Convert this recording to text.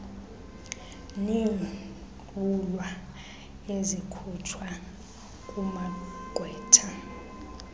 neentlwulwa ezikhutshwa kumagqwetha